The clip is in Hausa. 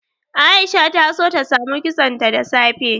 Aisha ta so ta samu kitsonta da safe.